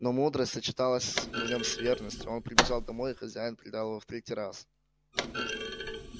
но мудрость сочеталась в нём с верностью он прибежал домой и хозяин предал его в третий раз